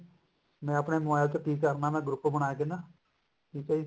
ਮੈਂ ਆਪਨੇ mobile ਤੋ ਕਿ ਕਰਨਾ ਮੈਂ group ਬਣਾਕੇ ਨਾ ਕਿਤੇ